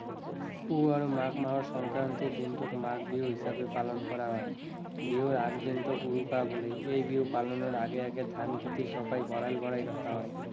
পুহ আৰু মাঘ মাহৰ সংক্ৰান্তিৰ দিনটোক মাঘ বিহু হিচাপে পালন কৰা হয়। বিহুৰ আগদিনটোক উৰুকা বোলে। এই বিহু পালনৰ আগে আগে ধান খেতি চপাই ভঁৰাল ভৰাই ৰখা হয়।